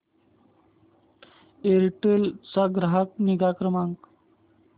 Aircel चा ग्राहक निगा क्रमांक